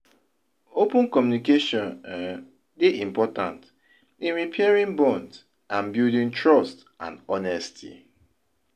open communication um dey important in repairing bonds and buildng trust and honesty.